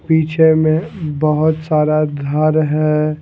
पीछे में बहोत सारा घर है।